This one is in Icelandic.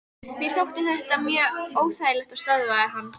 Mér þótti þetta mjög óþægilegt og stöðvaði hann.